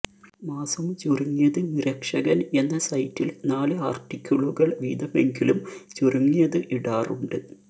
മാസം ചുരുങ്ങിയത് മിരക്ഷകൻ എന്ന സൈറ്റിൽ നാല് ആർട്ടിക്കിളുകൾ വീതമെങ്കിലും ചുരുങ്ങിയത് ഇടാറുണ്ട്